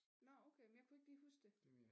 Nåh okay men jeg kunne ikke lige huske det